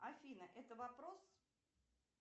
афина это вопрос